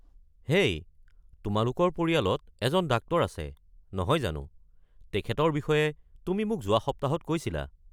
হেই তোমালোকৰ পৰিয়ালত এজন ডাক্টৰ আছে নহয় জানো? তেখেতৰ বিষয়ে তুমি মোক যোৱা সপ্তাহত কৈছিলা।